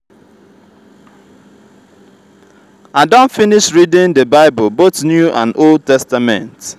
i don finish reading the bible both new and old testament.